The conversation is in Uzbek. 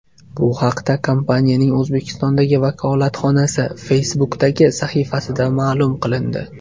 Bu haqda kompaniyaning O‘zbekistondagi vakolatxonasi Facebook’dagi sahifasida ma’lum qilindi .